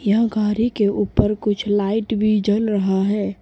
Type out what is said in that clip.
यह गाड़ी के ऊपर कुछ लाइट भी जल रहा है।